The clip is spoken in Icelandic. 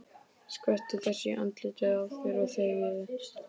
Skvettu þessu í andlitið á þér og þegiðu.